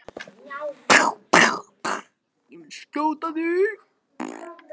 En þetta var þó opinber heimsókn.